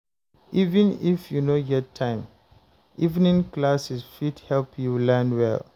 Even if you no get time, evening classes fit help you learn well.